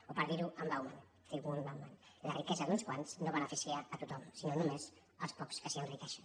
o per dir·ho amb bauman la riquesa d’uns quants no beneficia tothom sinó només els pocs que s’enriquei·xen